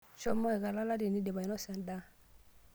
Shomo ika lala tinindip ainosa endaa.